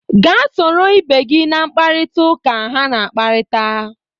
Gaa soro ibe gị na mpkarịta ụka ha na-akparịta!